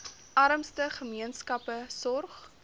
armste gemeenskappe sorg